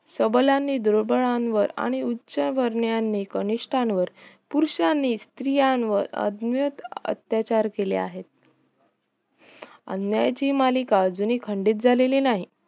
सबलांनी दुर्बलांवर आणि उच्छ वर्णियांनी कनिष्ठावर पुरुषांनी स्रित्रीया वर आदमयीक अत्याचार केले आहे अन्याय याची मालिका अजुनी खंडित झाली नाही